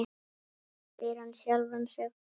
spyr hann sjálfan sig.